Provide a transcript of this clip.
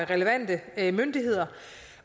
relevante myndigheder